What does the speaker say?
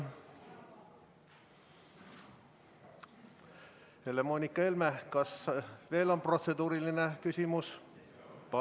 Moonika Helme, kas on veel mõni protseduuriline küsimus?